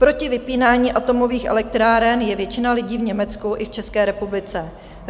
Proti vypínání atomových elektráren je většina lidí v Německu i v České republice.